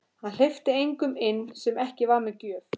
Hann hleypti engum inn sem ekki var með gjöf.